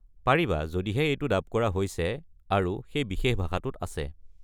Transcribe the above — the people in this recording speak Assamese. পাৰিবা যদিহে এইটো ডাব কৰা হৈছে আৰু সেই বিশেষ ভাষাটোত আছে।